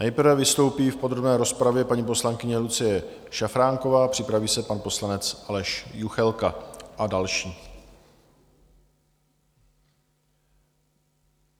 Nejprve vystoupí v podrobné rozpravě paní poslankyně Lucie Šafránková, připraví se pan poslanec Aleš Juchelka a další.